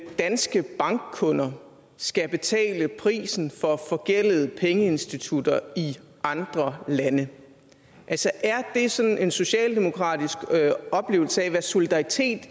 danske bankkunder skal betale prisen for forgældede pengeinstitutter i andre lande altså er det sådan en socialdemokratisk oplevelse af hvad solidaritet